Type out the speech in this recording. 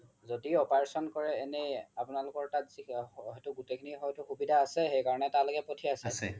যদি operation কৰে এনে আপোনালোকৰ তাত গুতেই খিনি হয়তো সুবিধা আছেই সেই কাৰনে তালৈকে প্থিয়াইছে